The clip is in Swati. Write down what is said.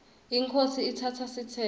inkhosi itsatsa sitsembu